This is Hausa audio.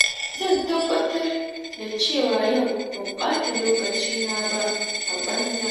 Zan tabbatar da cewa yau ban ɓata lokacina ba a banza.